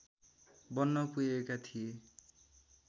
बन्न पुगेका थिए